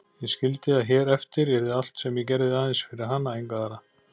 Ég skildi að hér eftir yrði allt sem ég gerði aðeins fyrir hana, enga aðra.